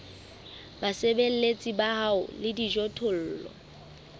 basebeletsi ba hao le dijothollo